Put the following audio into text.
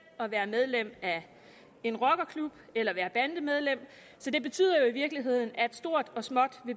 at være medlem af en rockerklub eller at være bandemedlem så det betyder jo i virkeligheden at stort og småt